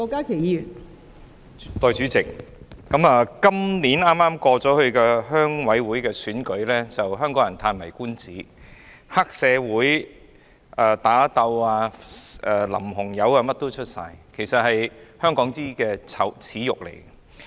代理主席，今年剛結束的鄉事會選舉令香港人嘆為觀止，既有黑社會打鬥，又有淋紅油，應有盡有，實在是香港的耻辱。